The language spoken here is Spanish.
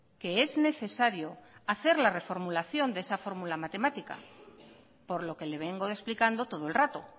que es necesario hacer la reformulación de esa fórmula matemática por lo que le vengo explicando todo el rato